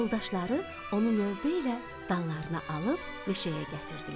Yoldaşları onu növbə ilə dallarına alıb meşəyə gətirdilər.